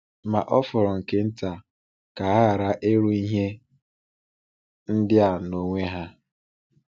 Ma Ọ fọrọ nke nta ka ha ghara iru ihe ndị a n’onwe ha.